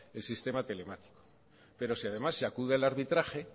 el sistema telemático pero si además se acude al arbitraje